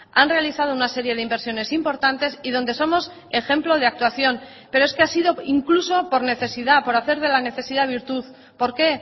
han realizado una serie de inversiones importantes y donde somos ejemplo de actuación pero es que ha sido incluso por necesidad por hacer de la necesidad virtud por qué